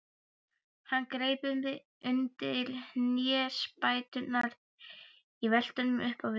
Hann greip undir hnésbæturnar í veltunum upp á við.